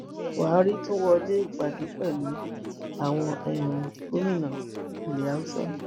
buhari tún wọlé ìpàdé pẹlú àwọn um gómìnà ilẹ haúsá